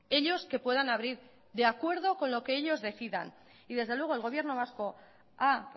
ellos que puedan abrir de acuerdo con lo que ellos decidan y desde luego el gobierno vasco ha